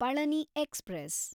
Palani express